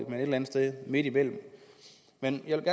eller andet sted midtimellem men jeg vil